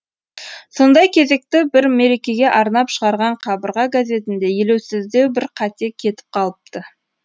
сондай кезекті бір мерекеге арнап шығарған қабырға газетінде елеусіздеу бір қате кетіп қалыпты